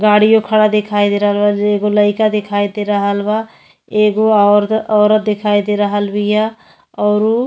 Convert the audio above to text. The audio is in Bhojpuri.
गाड़ियो खड़ा देखाई दे रहल बा। जे एगो लईका देखाई दे रहल बा। एगो और्त औरत देखाई दे रहल बिया औरु --